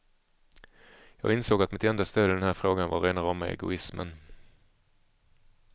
Jag insåg att mitt enda stöd i den här frågan var rena rama egoismen.